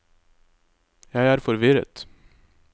jeg er forvirret